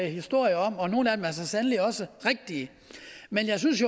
historier om og nogle af dem er så sandelig også rigtige men jeg synes